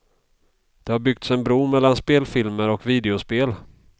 Det har byggts en bro mellan spelfilmer och videospel.